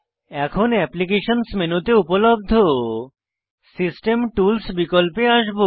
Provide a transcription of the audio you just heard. এখন অ্যাপ্লিকেশনস মেনুতে উপলব্ধ সিস্টেম টুলস বিকল্পে আসবো